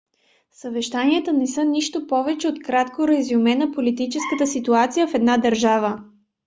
съвещанията не са нищо повече от кратко резюме на политическата ситуация в една държава